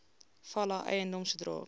fala eiendom sodra